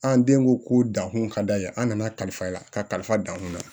An den ko dankun ka d'a ye an nana kalifa la kalifa dan kun na